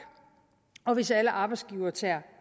og hvis alle arbejdsgivere tager